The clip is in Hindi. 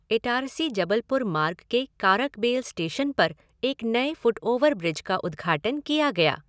इटारसी जबलपुर मार्ग के कारकबेल स्टेशन पर एक नए फ़ुटओवर ब्रिज का उद्घाटन किया गया।